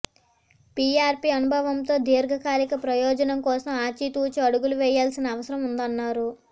PRP అనుభవంతో దీర్ఘకాలిక ప్రయోజనం కోసం ఆచితూచి అడుగులు వేయాల్సిన అవసరం ఉందన్నారు